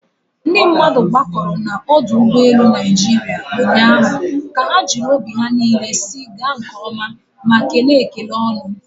ndị mmadụ gbakọrọ na ọdụ ụgbọ elu Naịjirịa ụnyahụ ka ha jiri obi ha niile si gaa nke oma ma kelee ekele ọñụ